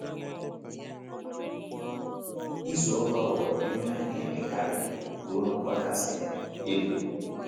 Ịzụ ọkwá ghọrọ ihe a na - emekarị ruo n’ọkwá kasị elu.